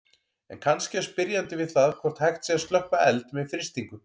En kannski á spyrjandi við það hvort hægt sé að slökkva eld með frystingu.